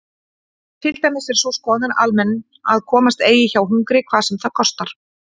Til dæmis er sú skoðun almenn að komast eigi hjá hungri hvað sem það kostar.